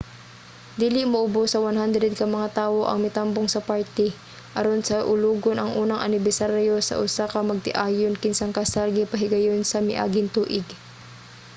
dili muobos sa 100 ka mga tawo ang mitambong sa party aron saulogon ang unang anibersaryo sa usa ka magtiayon kinsang kasal gipahigayon sa miaging tuig